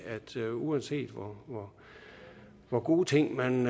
at uanset hvor gode ting man